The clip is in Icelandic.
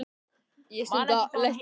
Man ekki hvað hún heitir, sagði Jói.